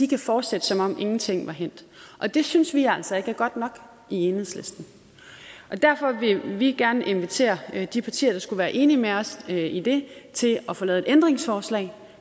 kan fortsætte som om ingenting var hændt og det synes vi altså ikke er godt nok i enhedslisten derfor vil vi gerne invitere de partier der skulle være enige med os i det til at få lavet et ændringsforslag